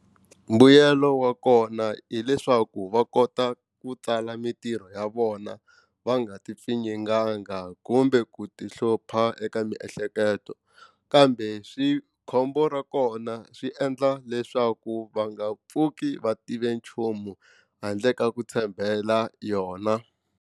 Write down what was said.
Mbuyelo wa kona hileswaku va kota ku tsala mitirho ya vona va nga ti pfinyinganga kumbe ku ti hlupha eka miehleketo kambe swi khombo ra kona swi endla leswaku va nga pfuki va tive nchumu handle ka ku tshembela yona.